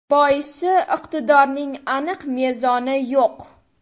Boisi iqtidorning aniq mezoni yo‘q.